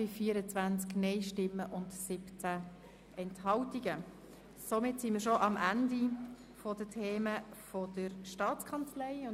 Damit sind wir schon am Ende der Geschäfte der Staatskanzlei angelangt.